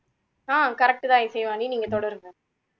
ஆஹ் correct தான் இசைவாணி நீங்க தொடருங்க